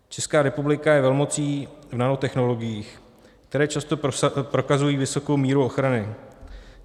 Česká republika je velmocí v nanotechnologiích, které často prokazují vysokou míru ochrany.